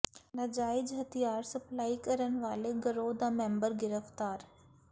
ਨਾਜਾਇਜ਼ ਹਥਿਆਰ ਸਪਲਾਈ ਕਰਨ ਵਾਲੇ ਗਰੋਹ ਦਾ ਮੈਂਬਰ ਗਿ੍ਫ਼ਤਾਰ